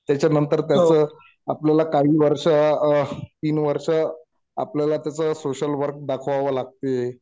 त्याच्यानंतर त्याचं आपल्याला काही वर्ष तीन वर्ष आपल्याला तसं सोशल वर्क दाखवावं लागते..